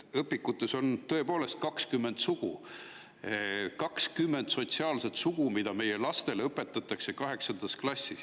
Õpikutes on tõepoolest 20 sugu, 20 sotsiaalset sugu, mida meie lastele õpetatakse kaheksandas klassis.